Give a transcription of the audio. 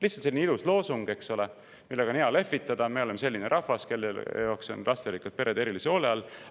Lihtsalt selline ilus loosung, eks ole, millega on hea lehvitada: me oleme selline rahvas, kelle jaoks on lasterikkad pered erilise hoole all!